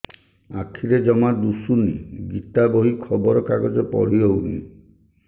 ଆଖିରେ ଜମା ଦୁଶୁନି ଗୀତା ବହି ଖବର କାଗଜ ପଢି ହଉନି